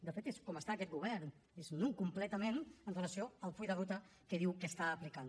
de fet és com està aquest govern és nu completament amb relació al full de ruta que diu que està aplicant